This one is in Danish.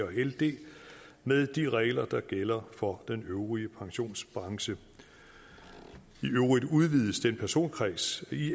og ld med de regler der gælder for den øvrige pensionsbranche i øvrigt udvides den personkreds i